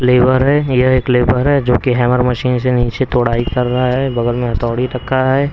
Labour है यह एक लेबर है जो कि हैमर मशीन से नीचे तोड़ाई कर रहा है बगल में हतोड़ी रखा है.